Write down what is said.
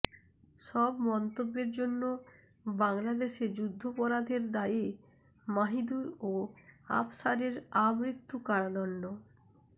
সব মন্তব্যের জন্য বাংলাদেশে যুদ্ধাপরাধের দায়ে মাহিদুর ও আফসারের আমৃত্যু কারাদণ্ড